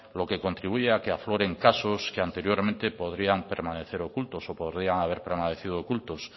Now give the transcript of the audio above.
lo que contribuye a que afloren casos que anteriormente podrían permanecer ocultos o podrían haber permanecido ocultos